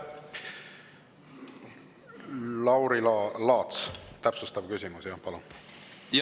Lauri Laats, täpsustav küsimus, palun!